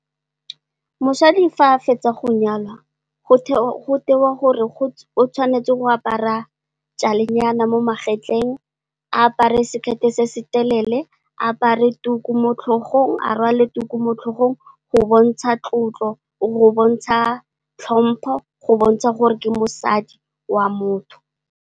Mosadi fa a fetsa go nyalwa go tewa gore a tshwanetse go apara jale nyana mo magetleng, a apare sekete se se telele, a rwale tuku mo tlhogong, go bontsha tlotlo, go bontsha tlhompo go bontsha gore ke mosadi wa motho.